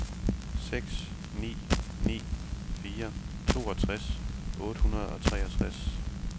seks ni ni fire toogtres otte hundrede og treogtres